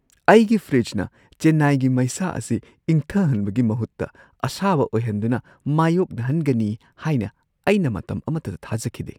ꯑꯩꯒꯤ ꯐ꯭ꯔꯤꯖꯅ ꯆꯦꯟꯅꯥꯏꯒꯤ ꯃꯩꯁꯥ ꯑꯁꯤ ꯏꯪꯊꯍꯟꯕꯒꯤ ꯃꯍꯨꯠꯇ ꯑꯁꯥꯕ ꯑꯣꯏꯍꯟꯗꯨꯅ ꯃꯥꯢꯌꯣꯛꯅꯍꯟꯒꯅꯤ ꯍꯥꯏꯅ ꯑꯩꯅ ꯃꯇꯝ ꯑꯃꯠꯇꯗ ꯊꯥꯖꯈꯤꯗꯦ ꯫